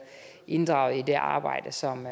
inddraget i det arbejde som jo